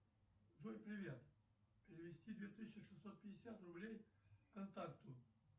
джой привет перевести две тысячи шестьсот пятьдесят рублей контакту